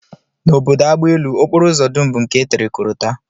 N'obodo agbaelu, okporoụzọ dum bụ nke e tere korota